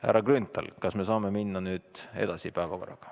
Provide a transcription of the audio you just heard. Härra Grünthal, kas me saame minna päevakorraga edasi?